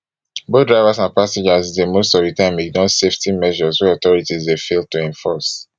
both drivers and passengers dey most of di time ignore safety measures wey authorities dey fail to enforce